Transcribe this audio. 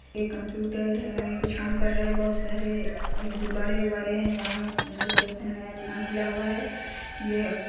एक कंप्यूटर है कुछ काम कर रहे बहोत सारे गुब्बारे-उब्बारे है यहाँ मेरे को लगता है नया दुकान खुला हुआ हैयह--